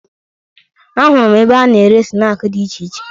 Ahụrụ m ebe a na-ere snaakị dị iche iche